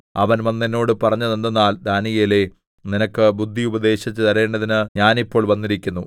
അവൻ വന്ന് എന്നോട് പറഞ്ഞതെന്തെന്നാൽ ദാനീയേലേ നിനക്ക് ബുദ്ധി ഉപദേശിച്ചുതരേണ്ടതിന് ഞാൻ ഇപ്പോൾ വന്നിരിക്കുന്നു